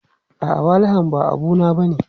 A'a, walahan ba abu na bane.